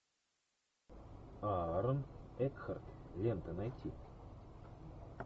аарон экхарт лента найти